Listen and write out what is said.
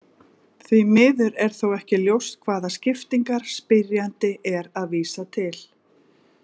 Því miður er þó ekki ljóst hvaða skiptingar spyrjandi er að vísa til.